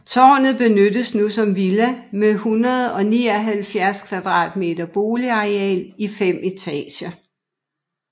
Tårnet benyttes nu som villa med 179 m² boligareal i fem etager